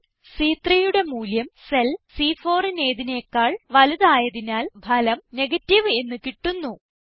cell C3യുടെ മൂല്യം cell C4നേതിനെക്കാൾ വലുത് ആയതിനാൽ ഫലം നെഗേറ്റീവ് എന്ന് കിട്ടുന്നു